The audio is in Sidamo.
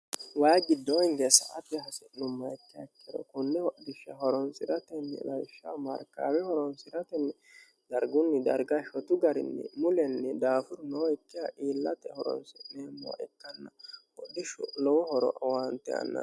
wayi giddoo hingee sa'ate hasi'nummaha ikka ikkero kunne hodishsha horonsi'ratenni lawishsha markaawe horonsi'ratenni dargunni darga shotu garinni mulenni daafuru nooikkiha iillate horonsi'neemmowa ikkanna hodhishshu lowo horo owaante anno